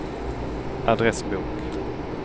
adressbok